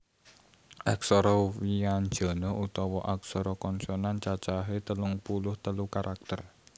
Aksara wyanjana utawa aksara konsonan cacahé telung puluh telu karakter